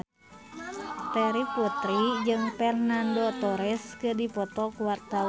Terry Putri jeung Fernando Torres keur dipoto ku wartawan